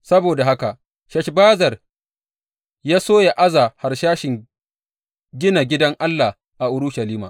Saboda haka Sheshbazzar ya so ya aza harsashin gina gidan Allah a Urushalima.